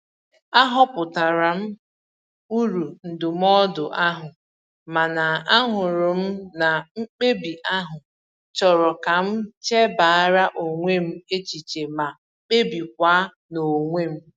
A hụpụtara m uru ndụmọdụ ahụ, mana ahụrụ m na mkpebi ahụ chọrọ ka m chebara onwe m echiche ma kpebikwa n'onwe m..